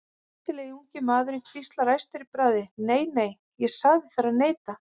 Snyrtilegi ungi maðurinn hvíslar æstur í bragði: Nei, nei, ég sagði þér að neita